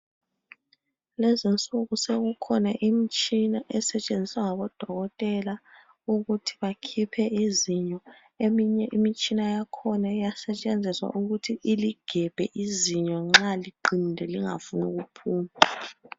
Lezinsuku sekukhona imitshina esetshenziswa ngoDokotela ukuthi bakhiphe izinyo eminye yakhona iyasetshenziswa ukuthi iligebhe nxa liqinile lingafuni ukuphuma.